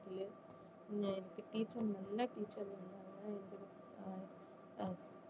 எனக்கு teacher நல்ல teacher அஹ் அஹ்